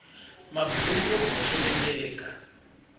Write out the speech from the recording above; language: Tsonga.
maburuku yo boxeleleka